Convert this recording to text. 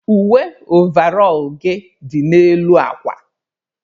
Uwe ọvarol gị dị n'elu akwa.